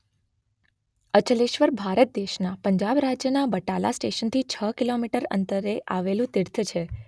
અચલેશ્વર ભારત દેશના પંજાબ રાજ્યના બટાલા સ્ટેશનથી છ કિલોમીટર અંતરે આવેલું તીર્થ છે.